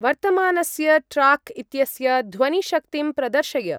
वर्तमानस्य ट्राक् इत्यस्य ध्वनिशक्तिं प्रदर्शय।